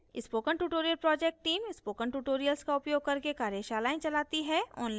spoken tutorial project team spoken tutorials का उपयोग करके कार्यशालाएँ चलती है